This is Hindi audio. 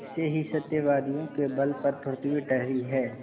ऐसे ही सत्यवादियों के बल पर पृथ्वी ठहरी है